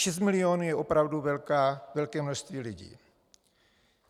Šest milionů je opravdu velké množství lidí.